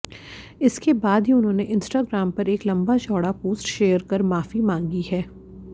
इसके बाद ही उन्होंने इंस्टाग्राम पर एक लंबा चौड़ा पोस्ट शेयर कर माफी मांगी है